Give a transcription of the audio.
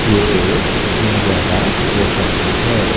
ये एक इंडिया का पोस्ट ऑफिस है।